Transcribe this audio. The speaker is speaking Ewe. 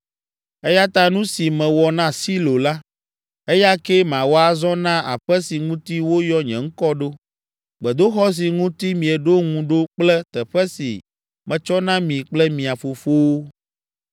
Eya ta nu si mewɔ na Silo la, eya kee mawɔ azɔ na aƒe si ŋuti woyɔ nye ŋkɔ ɖo, gbedoxɔ si ŋuti mieɖo ŋu ɖo kple teƒe si metsɔ na mi kple mia fofowo.